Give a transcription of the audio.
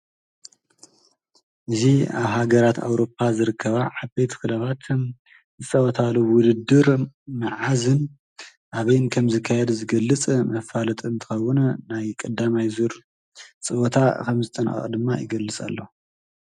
ኣብ ሃገራት ኣውሮፓ ዘለዋ ዓበይቲ ክለባት ናይ ምድብ ፀወተኣን ዘካይዳሉ ማዓልቲ ይሕብር።